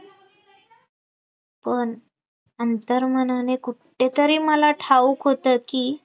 पण अंतर्मनाने कुठेतरी मला ठाऊक होतं की